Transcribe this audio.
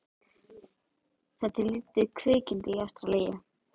Það er til lítið kvikindi í Ástralíu.